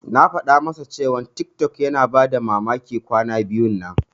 Na faɗa masa cewa tiktok yana bayar da mamaki kwana biyun nan.